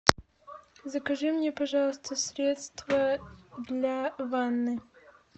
закажи мне пожалуйста средство для ванны